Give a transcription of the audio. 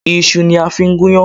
Iṣu ni a fi ń gún iyán